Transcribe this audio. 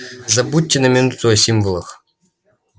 забудьте на минуту о символах